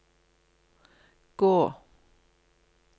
gå